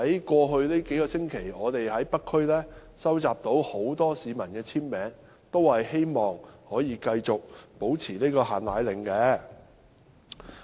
過去數星期，我們在北區收集了很多市民的簽名，他們都希望繼續維持"限奶令"。